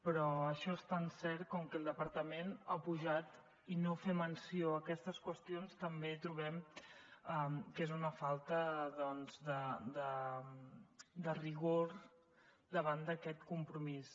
però això és tan cert com que el departament ha pujat i no fer menció a aquestes qüestions també trobem que és una falta doncs de rigor davant d’aquest compromís